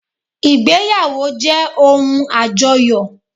Ìgbéyàwó jẹ́ ohun àjọyọ̀